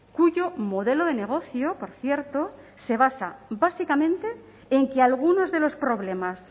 cuyo modelo de negocio por cierto se basa básicamente en que algunos de los problemas